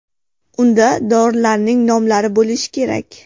Unda dorilarning nomlari bo‘lishi kerak.